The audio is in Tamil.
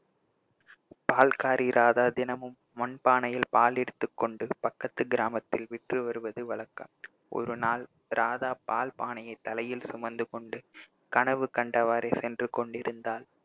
பால்காரி ராதா தினமும் மண்பானையில் பால் எடுத்துக்கொண்டு பக்கத்து கிராமத்தில் விற்று வருவது வழக்கம் ஒரு நாள் ராதா பால் பானையை தலையில் சுமந்து கொண்டு கனவு கண்டவாறே சென்று கொண்டிருந்தாள்